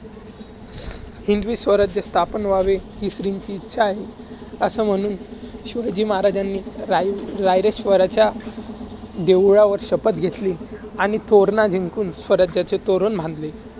हिंदवी स्वराज्य स्थापन व्हावे, हि श्रींची इच्छा आहे. असं म्हणून शिवाजी महाराजांनी राय~ रायरेश्वराच्या देवळवर शपथ घेतली. आणि तोरणा जिंकून स्वराज्याचे तोरण बांधले.